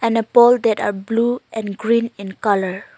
And a pole that are blue and green in colour.